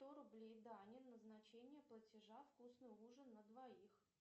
сто рублей дане назначение платежа вкусный ужин на двоих